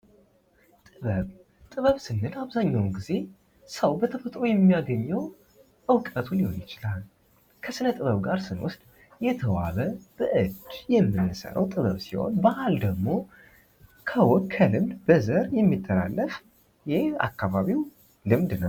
ጥበብ ስንል አብዛኛውን ጊዜ ሰው በተፈጥሮው የሚያገኘው እውቀቱ ሊሆን ይችላል፤ ከሥነ ጥበብ ጋር ስንወስድ የተዋበ በእጅ የምንሠራው ጥበብ ሲሆን ባህል ደግሞ ከወግ ከልምድ በዘር የሚተላለፍ የአካባቢው ልምድ ነው።